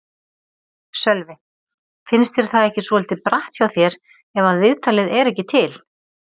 Sölvi: Finnst þér það ekki svolítið bratt hjá þér ef að viðtalið er ekki til?